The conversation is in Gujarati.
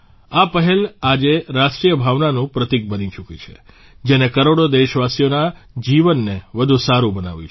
આ પહેલ આજે રાષ્ટ્રીય ભાવનાનું પ્રતિક બની ચૂકી છે જેને કરોડો દેશવાસીઓના જીવનને વધુ સારું બનાવ્યું છે